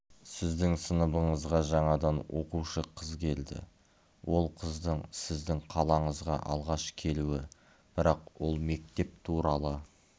сіздің сыныбыңызға жаңадан оқушы қыз келді ол қыздың сіздің қалаңызға алғаш келуі бірақ ол мектеп туралы